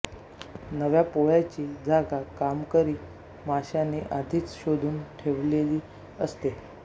नव्या पोळ्याची जागा कामकरी माशानी आधीच शोधून ठेवलेली असते